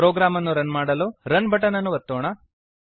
program ಅನ್ನು run ಮಾಡಲು run button ಅನ್ನು ಒತ್ತೋಣ